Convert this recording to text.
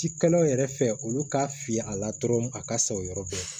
Ci kalaw yɛrɛ fɛ olu ka fili a la dɔrɔn a ka sa o yɔrɔ bɛɛ